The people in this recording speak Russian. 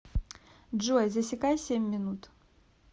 джой засекай семь минут